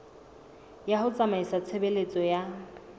ya ho tsamaisa tshebeletso ya